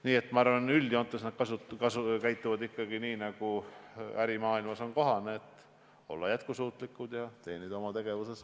Nii et ma arvan, et üldjoontes käituvad pangad ikkagi nii, nagu ärimaailmas on kohane, et olla jätkusuutlik ja teenida kasumit.